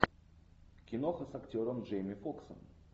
киноха с актером джейми фоксом